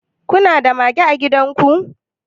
kuna da mage a gidan ku